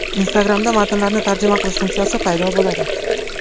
Instagram’da matnlarni tarjima qilish funksiyasi paydo bo‘ladi.